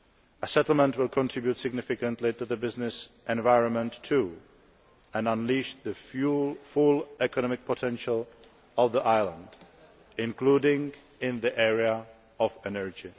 A settlement will also contribute significantly to the business environment and unleash the full economic potential of the island, including in the area of energy.